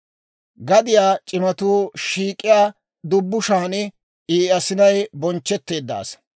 Gadiyaa c'imatuu shiik'iyaa dubbushan I asinay bonchchetteedda asaa.